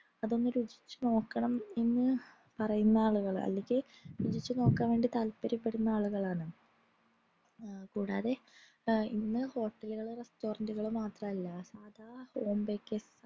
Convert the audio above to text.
അതൊന്നു രുചിച്ചു നോക്കണം എന്ന് പറയുന്ന ആളുകൾ എല്ലെങ്കിൽ രുചിച് നോക്കാൻ വേണ്ടി താത്പര്യപ്പെടുന്ന ആളുകളാണ് കൂടാതെ ഇന്ന് hotel കൾ restaurant കൾ മാത്രമല്ല എന്തൊക്കെ